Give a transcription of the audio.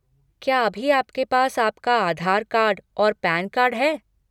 क्या अभी आपके पास आपका आधार कार्ड और पैन कार्ड है?